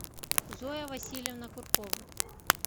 зоя васильевна куркова